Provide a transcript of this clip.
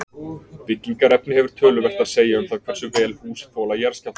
byggingarefni hefur töluvert að segja um það hversu vel hús þola jarðskjálfta